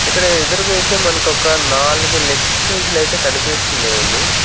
ఇక్కడ ఎదురుగా అయితే మనక ఒక నాలుగు లెగ్ పీసులు అయితే కనిపిస్తున్నాయండి.